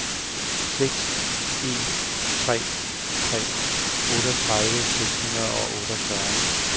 seks en tre tre otteogtredive seks hundrede og otteogfyrre